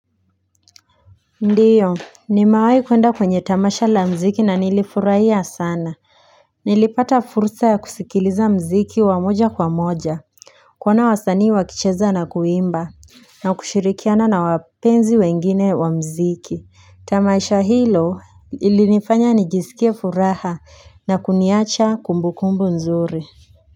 Ndiyo nimewai kuenda kwenye tamasha la mziki na nilifurahia sana Nilipata fursa ya kusikiliza mziki wa moja kwa moja kuona wasanii wakicheza na kuimba na kushirikiana na wapenzi wengine wa mziki Tamasha hilo ilinifanya nijisikie furaha na kuniacha kumbukumbu nzuri.